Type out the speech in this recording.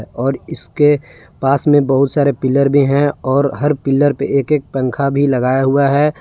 और इसके पास में बहुत सारे पिलर भी हैं और हर पिलर पे एक एक पंखा भी लगाया हुआ है।